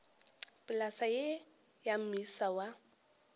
polase ye ya moisa wa